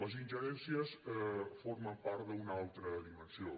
les ingerències formen part d’una altra dimensió